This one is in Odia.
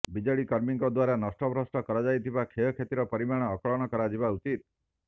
ବିଜେଡି କର୍ମୀଙ୍କ ଦ୍ୱାରା ନଷ୍ଟଭ୍ରଷ୍ଟ କରାଯାଇଥିବା କ୍ଷୟକ୍ଷତିର ପରିମାଣ ଆକଳନ କରାଯିବା ଉଚିତ